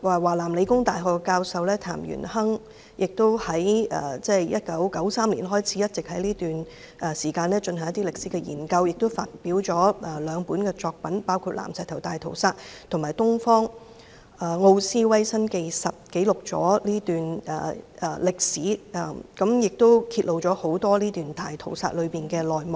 華南理工大學教授譚元亨從1993年開始一直進行歷史研究，亦發表了兩部作品，包括《南石頭大屠殺》及《東方奧斯維辛》，記錄了這段歷史，亦揭露了大屠殺的內幕。